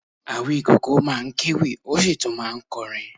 Awíkoko máa ń kewì, ó sì tún máa ń kọrin